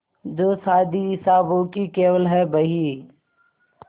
जो शादी हिसाबों की केवल है बही